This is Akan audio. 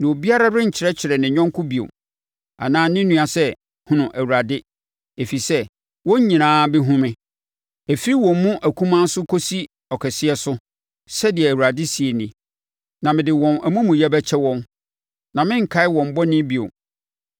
Na obiara renkyerɛkyerɛ ne yɔnko bio, anaa ne nua sɛ, ‘Hunu Awurade,’ Ɛfiri sɛ, wɔn nyinaa bɛhunu me, ɛfiri wɔn mu akumaa so, kɔsi ɔkɛseɛ so,” Sɛdeɛ Awurade seɛ nie. “Na mede wɔn amumuyɛ bɛkyɛ wɔn, na merenkae wɔn bɔne bio.”